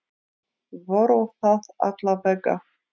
Voru það alla vega.